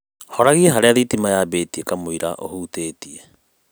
Horagia harĩa thitima yambĩtie kamũira ũhutĩtie